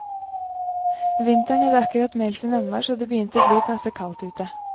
Vinteren hadde akkurat meldt sin anmars, og det begynte å bli passe kaldt ute.